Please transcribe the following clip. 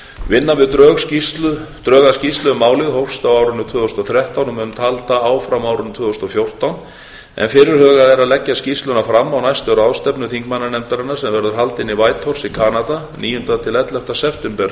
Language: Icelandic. vinna við drög að skýrslu um málið hófst á árinu tvö þúsund og þrettán og mun halda áfram á árinu tvö þúsund og fjórtán en fyrirhugað er að leggja skýrsluna fram á næstu ráðstefnu þingmannanefndarinnar sem verður haldin í whitehorse í kanada frá níunda til ellefta september